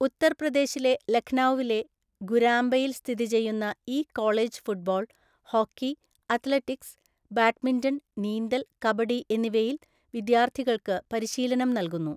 ഉത്തർപ്രദേശിലെ ലഖ്നൌവിലെ ഗുരാംബയിൽ സ്ഥിതി ചെയ്യുന്ന ഈ college football, hockey, athletics, badminton, നീന്തൽ, കബഡി എന്നിവയിൽ വിദ്യാർത്ഥികൾക്ക് പരിശീലനം നൽകുന്നു.